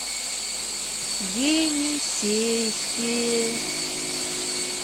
енисейске